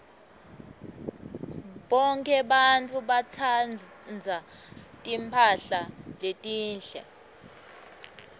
bonkhe bantfu batsandza timphahla letinhle